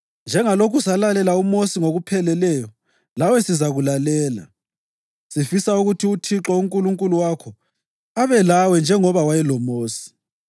Njengalokhu salalela uMosi ngokupheleleyo, lawe sizakulalela. Sifisa ukuthi uThixo uNkulunkulu wakho abe lawe njengoba wayeloMosi.